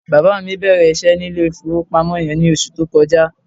Bàbá mi bẹ̀rẹ̀ iṣẹ́ ní ilé-ìfowópamọ́ yẹn ní oṣù tó kọjá.